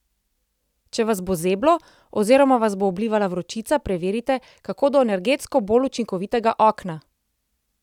Če vas bo zeblo, oziroma vas bo oblivala vročica, preverite, kako do energetsko bolj učinkovitega okna!